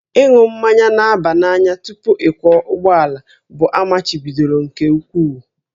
Ịṅụ mmanya na-aba n'anya tupu ịkwọ ụgbọala bụ amachibidoro nke ukwuu